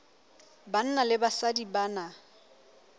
banna le basadi ba na